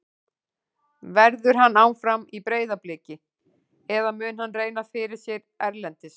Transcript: Verður hann áfram í Breiðabliki eða mun hann reyna fyrir sér erlendis?